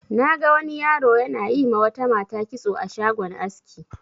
Na ga wani yaro na yi ma wata mata kitso a shagon aski.